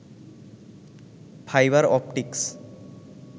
fibre optics